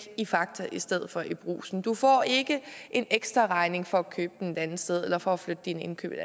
i fakta i stedet for i brugsen du får ikke en ekstraregning for at købe den et andet sted eller for at flytte dine indkøb et